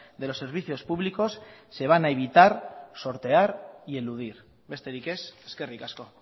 de los servicios públicos se van a evitar sortear y eludir besterik ez eskerrik asko